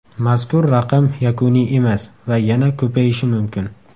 Mazkur raqam yakuniy emas va yana ko‘payishi mumkin.